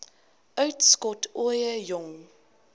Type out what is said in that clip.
uitskot ooie jong